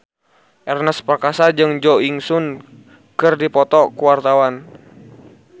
Ernest Prakasa jeung Jo In Sung keur dipoto ku wartawan